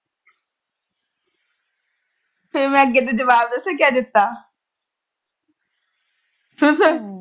ਫਿਰ ਮੈਂ ਅੱਗੋਂ ਤੋਂ ਜਵਾਬ ਪਤਾ ਕਿਆ ਦਿੱਤਾ ਸੁਣ ਸੁਣ